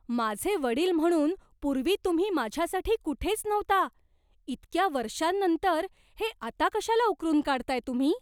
माझे वडील म्हणून पूर्वी तुम्ही माझ्यासाठी कुठेच नव्हता. इतक्या वर्षांनंतर हे आता कशाला उकरून काढताय तुम्ही?